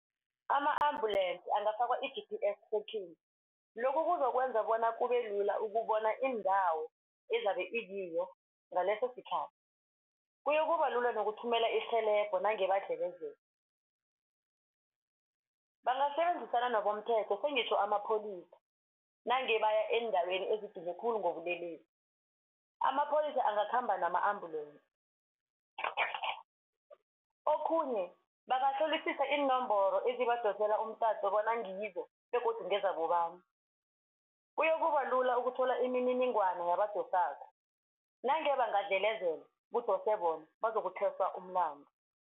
Ama-ambulance angafakwa i-G_P_S lokhu kuzokwenza bona kubelula ukubona indawo ezabe ikiyo ngaleso sikhathi. Kuyokubalula nokuthumela irhelebho nange badlelezela. Bangasebenzisana nobomthetho sengitjho amapholisa nange baya eendaweni ezibhizi khulu ngobulelesi amapholisa angakhamba nama-ambulance. Okhunye bangahlolisisa iinomboro ezibadosela umtato bona ngizo begodu ngezabobani kuyokubalula ukuthola imininingwana yabadosako nange bangadlelezelwa kudose bona bazokuthweswa umlandu.